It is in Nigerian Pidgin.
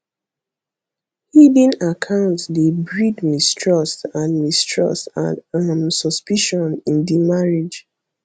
hidden account dey breed mistrust and mistrust and um suspicion in di marriage